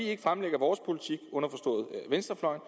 ikke fremlægger vores politik i venstrefløjen